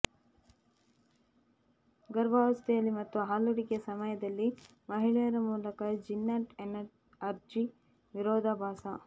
ಗರ್ಭಾವಸ್ಥೆಯಲ್ಲಿ ಮತ್ತು ಹಾಲೂಡಿಕೆ ಸಮಯದಲ್ಲಿ ಮಹಿಳೆಯರ ಮೂಲಕ ಜಿನ್ನಾಟ್ ಅರ್ಜಿ ವಿರೋಧಾಭಾಸ